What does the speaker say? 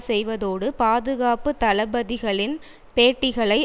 செய்வதோடு பாதுகாப்பு தளபதிகளின் பேட்டிகளை